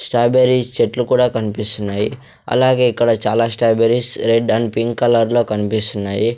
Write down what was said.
Strawberry చెట్లు కూడా కన్పిస్తున్నాయి అలాగే ఇక్కడ చాలా స్టాబెర్రీస్ రెడ్ అండ్ పింక్ కలర్లో కన్పిస్తున్నాయి.